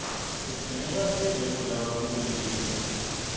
kudzingeka sidle kudla lokunempilo